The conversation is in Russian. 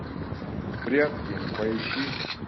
прятки поищи